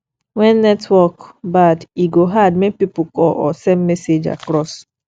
when network bad e go hard make pipo call or send message across